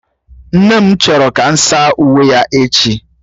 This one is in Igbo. Nne m chọrọ ka m saa uwe ya echi